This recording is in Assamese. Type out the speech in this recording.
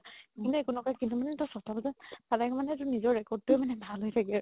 কোনো একো নকই কিন্তু মানে তই চ'তা বাজাত পালে মানে তোৰ নিজৰ record টোৱে মানে ভাল হয় থাকে আৰু